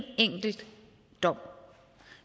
enkelt dom